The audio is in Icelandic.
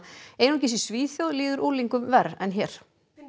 einungis í Svíþjóð líður unglingum verr en hér